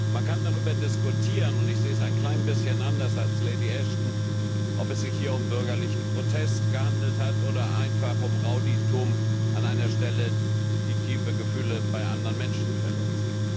Man kann darüber diskutieren, und ich sehe es ein klein bisschen anders als Lady Ashton, ob es sich hier um bürgerlichen Protest gehandelt hat oder einfach um Rowdytum an einer Stelle, die tiefe Gefühle bei anderen Menschen verletzt.